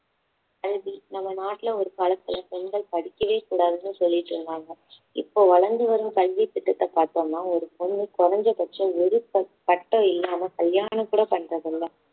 கல்வி நம்ம நாட்டில் ஒரு காலத்துல பெண்கள் படிக்கவே கூடாதுன்னு சொல்லிட்டு இருந்தாங்க இப்போ வளர்ந்து வரும் கல்வித்திட்டத்தை பார்த்தோம்னா ஒரு பொண்ணு குறைஞ்ச பட்சம் ஒரு பட்டம் இல்லாமல் கல்யாணம் கூட பண்றதில்ல